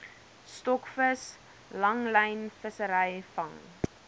stokvis langlynvissery vang